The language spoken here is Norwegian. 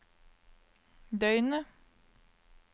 døgnet